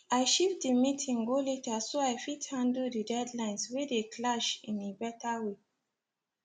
i shift the meeting go later so i fit handle the deadlines wey dey clash in a better way